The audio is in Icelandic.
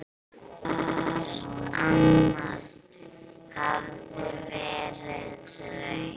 Alt annað hafði verið reynt.